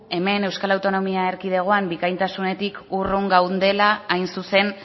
hemen euskal autonomia erkidegoan bikaintasunetik urrun gaudela hain zuzen